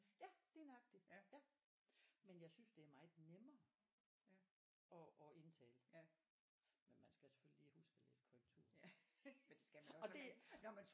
Ja lige nøjagtig ja. Men jeg synes det er meget nemmere at at indtale men man skal selvfølgelig lige huske at læse korrektur men det skal man også